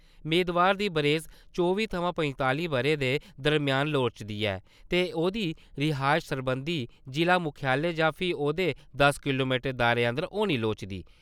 मेदवार दी बरेस चौबी थमां पंजताली ब'रें दे दरम्यान लोड़चदी ऐ ते ओह्‌दी रिहायश सरबंधत जिला मुक्खालय जां फ्ही ओह्दे दस किलोमीटर दे दायरे अंदर होनी लोड़चदी।